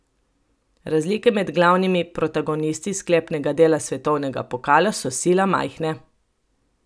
Razlike med glavnimi protagonisti sklepnega dela svetovnega pokala so sila majhne.